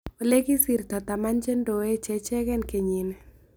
Olekigisirta taman chendoe chechegen kenyit nii